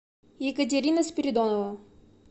екатерина спиридонова